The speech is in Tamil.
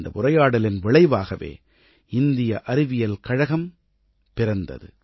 இந்த உரையாடலின் விளைவாகவே இந்திய அறிவியல் கழகம் பிறந்தது